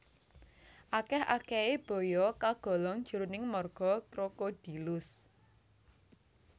Akèh akèhé baya kagolong jroning marga Crocodylus